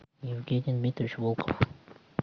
евгений дмитриевич волков